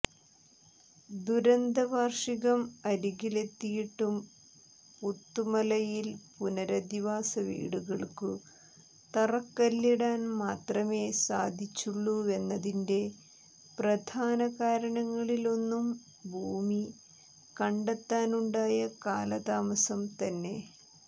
ദുരന്തവാർഷികം അരികിലെത്തിയിട്ടും പുത്തുമലയിൽ പുനരധിവാസ വീടുകൾക്കു തറക്കല്ലിടാൻ മാത്രമേ സാധിച്ചുള്ളൂവെന്നതിന്റെ പ്രധാന കാരണങ്ങളിലൊന്നും ഭൂമി കണ്ടെത്താനുണ്ടായ കാലതാമസം തന്നെ